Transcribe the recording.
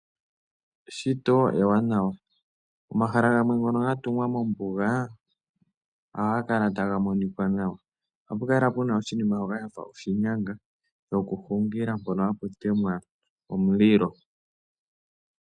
Eshito ewanawa. Omahala gamwe ngono ga tungwa mombuga ohaga kala taga monika nawa. Ohapu kala pu na oshinima shoka sha fa oshinyanga shokuhungila mpono hapu temwa omulilo.